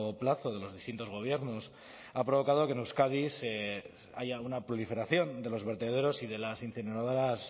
plazo de los distintos gobiernos ha provocado que en euskadi haya una proliferación de los vertederos y de las incineradoras